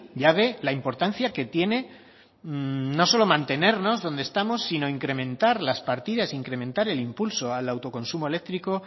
ya ve la importancia que tiene no solo mantenernos donde estamos sino incrementar las partidas incrementar el impulso al autoconsumo eléctrico